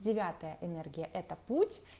девятая энергия это путь